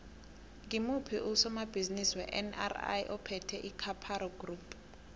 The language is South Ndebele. ngimuphi usomabhizimisi wenri ophethe icaparo group